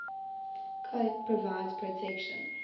coat provides protection